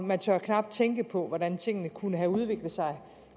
man tør knap tænke på hvordan tingene kunne have udviklet sig